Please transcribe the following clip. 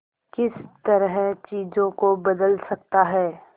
किस तरह चीजों को बदल सकता है